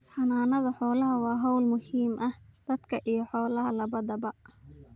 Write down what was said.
Xanaanada xoolaha waa hawl muhiim u ah dadka iyo xoolaha labadaba.�